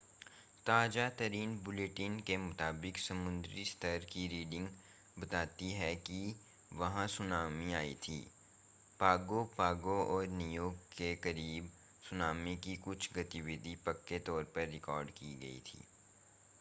ताज़ा-तरीन bulletin के मुताबिक समुद्री स्तर की रीडिंग बताती है कि वहां सुनामी आई थी पागो पागो और नीयू के करीब सुनामी की कुछ गतिविधि पक्के तौर पर रिकॉर्ड की गई थी